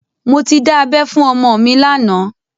Mo ti dá abẹ́ fún ọmọ mi lánàá